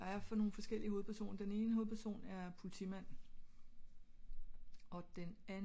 der er for nogle forskellige hovedpersoner den ene hovedperson er politimand